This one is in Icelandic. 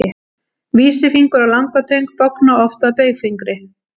vísifingur og langatöng bogna oft að baugfingri